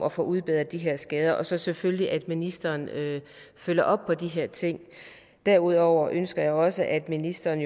at få udbedret de her skader og så selvfølgelig at ministeren følger op på de her ting derudover ønsker jeg jo også at ministeren